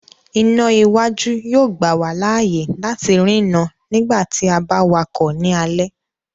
Iná iwájú yóò gbà wá láàyè láti ri no nígbàtí a ba wakọ ni alẹ